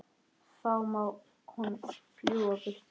Þá má hún fljúga burtu.